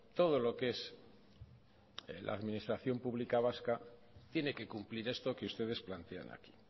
todo lo que es la administración pública vasca tiene que cumplir esto que ustedes plantean aquí